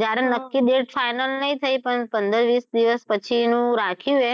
જ્યારે નક્કી date final નહીં થઈ પણ પંદર વીસ દિવસ પછી નું રાખ્યું છે.